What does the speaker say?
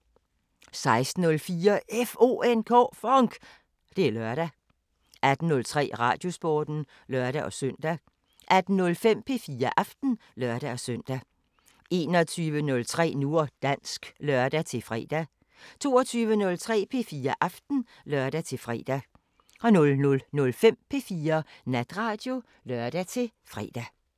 16:04: FONK! Det er lørdag 18:03: Radiosporten (lør-søn) 18:05: P4 Aften (lør-søn) 21:03: Nu og dansk (lør-fre) 22:03: P4 Aften (lør-fre) 00:05: P4 Natradio (lør-fre)